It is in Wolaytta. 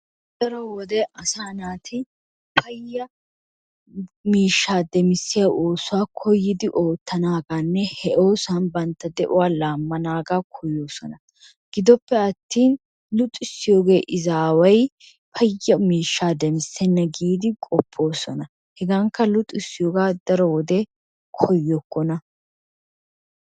Daro wode asaa naati paya miishshaa demmisiya oosuwa koyyidi ootanaaganne he oosuwan banta de'uwaa laamanaga koyoosona. Gidoppe attin luxxisiyoogee izaaway paya miishshaa demissenee giidi qopoosona. Hegankka luxxissiyoogaa daro wode koyokkona.